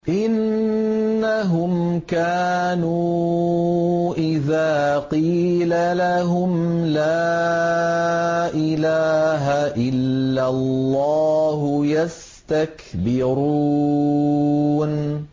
إِنَّهُمْ كَانُوا إِذَا قِيلَ لَهُمْ لَا إِلَٰهَ إِلَّا اللَّهُ يَسْتَكْبِرُونَ